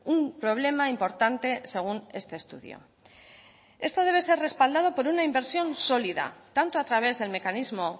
un problema importante según este estudio esto debe ser respaldado por una inversión sólida tanto a través del mecanismo